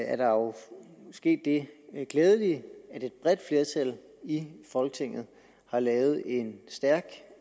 er der jo sket det glædelige at et bredt flertal i folketinget har lavet en stærk